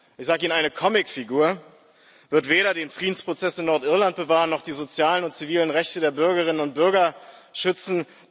Ich sage Ihnen, eine Comicfigur wird weder den Friedensprozess in Nordirland bewahren noch die sozialen und zivilen Rechte der Bürgerinnen und Bürger schützen.